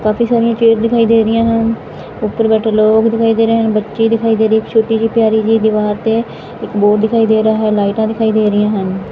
ਕਾਫੀ ਸਾਰੀਆਂ ਚੇਅਰਸ ਦਿਖਾਈ ਦੇ ਰਹੀਆਂ ਹਨ ਉੱਪਰ ਬੈਠੇ ਲੋਗ ਦਿਖਾਈ ਦੇ ਰਹੇ ਹਨ ਬੱਚੇ ਦਿਖਾਈ ਦੇ ਰਹੇ ਇੱਕ ਛੋਟੀ ਜਿਹੀ ਪਿਆਰੀ ਜੀ ਦਿਵਾਰ ਤੇ ਇੱਕ ਬੋਰਡ ਦਿਖਾਈ ਦੇ ਰਿਹਾ ਹੈ ਲਾਈਟਾਂ ਦਿਖਾਈ ਦੇ ਰਹੀਆਂ ਹਨ।